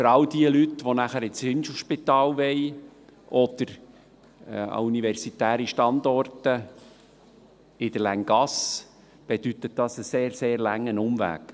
Für alle Leute, die danach ins Inselspital oder an universitäre Standorte in der Länggasse wollen, bedeutet das einen sehr, sehr langen Umweg.